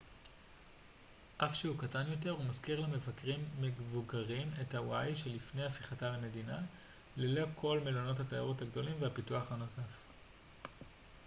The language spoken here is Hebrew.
אף שהוא קטן יותר הוא מזכיר למבקרים מבוגרים את הוואי שלפני הפיכתה למדינה ללא כל מלונות התיירות הגדולים והפיתוח הנוסף